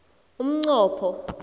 umnqopho